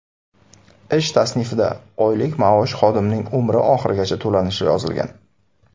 Ish tasnifida oylik maosh xodimning umri oxirigacha to‘lanishi yozilgan.